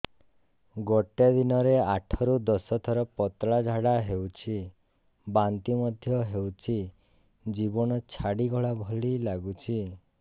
ଗୋଟେ ଦିନରେ ଆଠ ରୁ ଦଶ ଥର ପତଳା ଝାଡା ହେଉଛି ବାନ୍ତି ମଧ୍ୟ ହେଉଛି ଜୀବନ ଛାଡିଗଲା ଭଳି ଲଗୁଛି